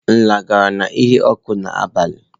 Nla gara n'ihu ọkụ n'abalị.